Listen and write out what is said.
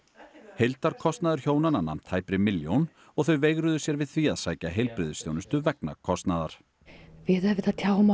heildarkostnaður hjónanna nam tæpri milljón og þau veigruðu sér við því að sækja heilbrigðisþjónustu vegna kostnaðar við tjáum